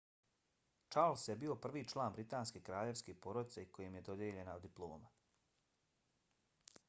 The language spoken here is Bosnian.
charles je bio prvi član britanske kraljevske porodice kojem je dodijeljena diploma